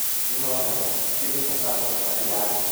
Juma Mwangi: Stephen na Samuel matirathiĩ...